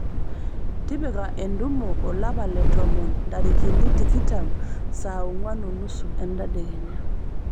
tipika entumo olapa le tomon ntarikini tikitam saa onguan o nusu entedekenya